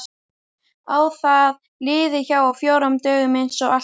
Að það líði hjá á fjórum dögum einsog alltaf.